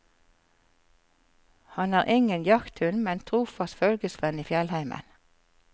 Han er ingen jakthund, men en trofast følgesvenn i fjellheimen.